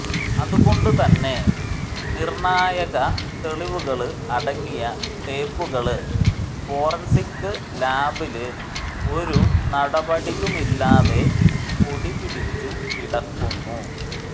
അതുകൊണ്ട് തന്നെ നിര്ണായക തെളിവുകള് അടങ്ങിയ ടേപ്പുകള് ഫോറന്സിക് ലാബില് ഒരു നടപടിയുമില്ലാതെ പൊടിപിടിച്ചു കിടക്കുന്നു